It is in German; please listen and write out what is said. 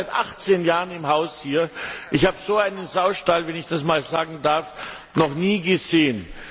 Ich bin seit achtzehn Jahren im Haus hier, ich habe so einen Saustall, wenn ich das einmal sagen darf, noch nie gesehen.